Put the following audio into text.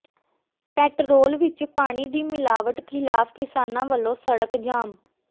petrol ਵਿੱਚ ਪਾਣੀ ਦੀ ਮਿਲਾਵਟ ਖ਼ਿਲਾਫ਼ ਕਿਸਾਨਾਂ ਵੱਲੋਂ ਸਡ਼ਕ ਜਾਮ